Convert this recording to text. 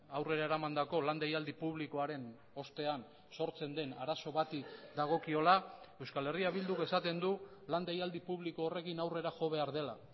aurrera eramandako lan deialdi publikoaren ostean sortzen den arazo bati dagokiola euskal herria bilduk esaten du lan deialdi publiko horrekin aurrera jo behar dela